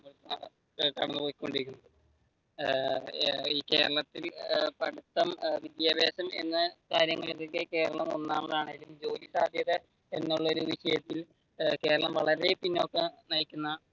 കടന്നുപോയികൊണ്ടിരിക്കുന്നത് ഏർ ഈ കേരളത്തിൽ പഠിത്തം വിദ്യാഭാസം എന്നുള്ള കാര്യങ്ങൾക്ക് കേരളം ഒന്നാമാതാണെങ്കിലും, ജോലി സാധ്യത എന്നുള്ള വിഷയത്തിൽ കേരളം വളരെ പിന്നോട്ട് നയിക്കുന്ന